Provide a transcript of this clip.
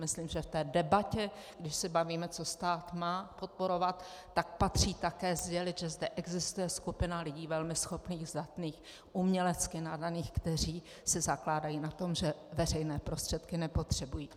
Myslím, že v té debatě, když se bavíme, co stát má podporovat, tak patří také sdělit, že zde existuje skupina lidí velmi schopných, zdatných, umělecky nadaných, kteří si zakládají na tom, že veřejné prostředky nepotřebují.